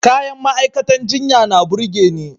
Kayan ma'aikatan jinya na burge ni.